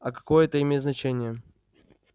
а какое это имеет значение